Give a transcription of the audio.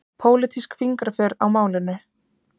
Pólitísk fingraför á málinu